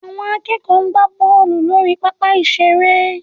Àwọn akẹ́kọ̀ọ́ ń gbá bọ́ọ̀lù lórí pápá ìṣeré